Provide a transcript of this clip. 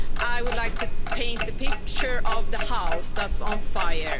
I would like to paint a picture of a house that's on fire.